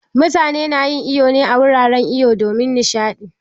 Mutane na yin iwo ne a wuraren iwo domin nishaɗi